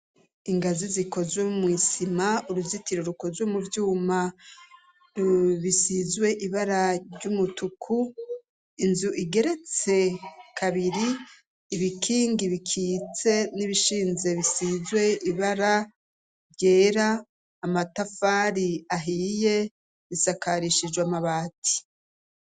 ingazi zikozwe mw'isima uruzitiro rukozwe mu vyuma rubisizwe ibara ry'umutuku inzu igeretse kabiri ibikingi bikitse n'ibishinze bisizwe ibara ryera amatafari ahiye risakarishijwe amabati